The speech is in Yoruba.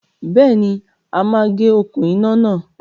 Béèni, a máa gé okún iná náà